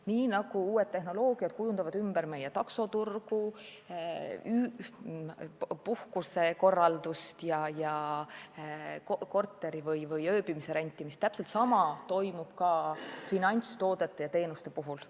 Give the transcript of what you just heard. Nii nagu uued tehnoloogiad kujundavad ümber meie taksoturgu, puhkusekorraldust ja korteri või ööbimiskoha rentimist, toimub täpselt sama ka finantstoodete ja teenuste puhul.